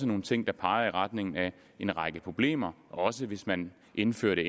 nogle ting der peger i retning af en række problemer også hvis man indførte